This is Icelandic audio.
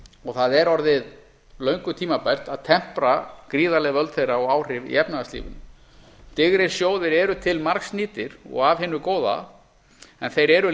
og það er orðið löngu tímabært að tempra gríðarleg völd þeirra og áhrif í efnahagslífinu digrir sjóðir eru til margs nýtir og af hinu góða en þeir eru